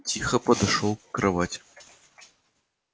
тихо подошёл к кровати